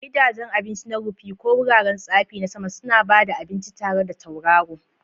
Gidajen abinci na rufi, ko wuraren tsafi na sama, suna ba da abinci tare da tauraro.